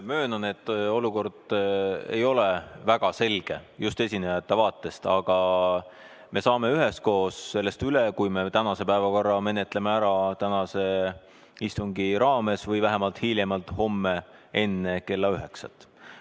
Möönan, et olukord ei ole väga selge, just esinejate vaatest, aga me saame üheskoos sellest üle, kui me tänase päevakorra menetleme ära tänase istungi raames või vähemalt hiljemalt homme enne kella üheksat.